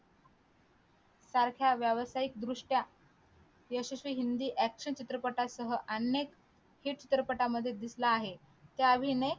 सारख्या व्यावसायिक दृष्ट्या यशस्वी हिंदी action चित्रपटासह अनेक चित्रपटात दिसला आहे त्यात अभिनय केला आहे